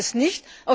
Ich weiß es nicht.